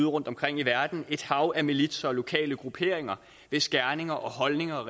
rundtomkring i verden et hav af militser og lokale grupperinger hvis gerninger og holdninger